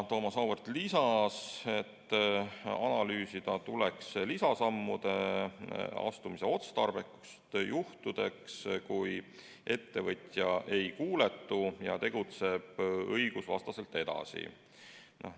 Thomas Auväärt lisas, et analüüsida tuleks lisasammude astumise otstarbekust juhtudeks, kui ettevõtja ei kuuletu ja tegutseb õigusvastaselt edasi.